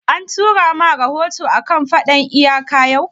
An tura ma rahoto a kan faɗan iyaka yau?